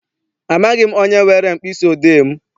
Amaghị m onye were mkpịsị odee m.